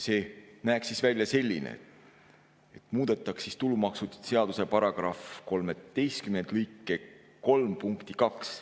See näeks välja selline, et muudetakse tulumaksuseaduse § 13 lõike 3 punkti 2.